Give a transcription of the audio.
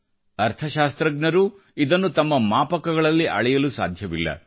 ಅರ್ಥಶಾಸ್ತ್ರಜ್ಞರೂ ಇದನ್ನು ತಮ್ಮ ಮಾಪಕಗಳಲ್ಲಿ ಅಳೆಯಲು ಸಾಧ್ಯವಿಲ್ಲ